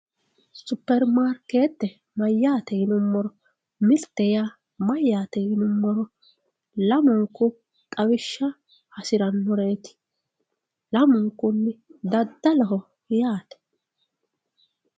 Superimaarkete mayyate yinuummoro mirte yaa mayyate yinuummoro lamunku xawishsha hasiranoreti, lamunku daddaloho yaate.